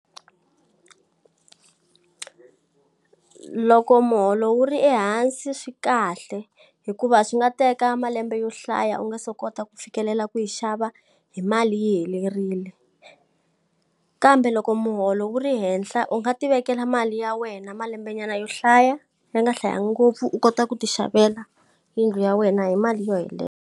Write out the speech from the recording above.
Loko muholo wu ri ehansi swi kahle, hikuva swi nga teka malembe yo hlaya u nga se kota ku fikelela ku yi xava hi mali yi helerile. Kambe loko muholo wu ri henhla u nga ti vekela mali ya wena malembenyana yo hlaya, ya nga hlaya ngopfu u kota ku ti xavela yindlu ya wena hi mali yo helela.